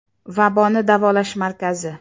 Vaboni davolash markazi.